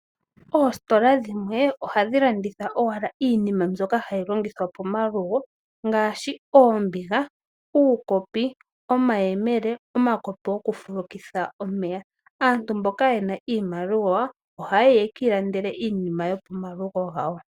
Oositola dhimwe ohadhi landitha ashike iinima ndjoka hayi landithwa pomalungo, ngaashi oombinga, uukopi, omayemele, omakopi gokufulukitha omeya naantu mboka yena iimaliwa oha ye kiilandela iinima yopomalungo gawo.